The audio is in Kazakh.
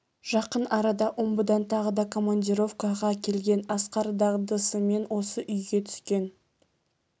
жақын арада омбыдан тағы да командировкаға келген асқар дағдысымен осы үйге түскен